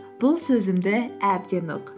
бұл сөзімді әбден ұқ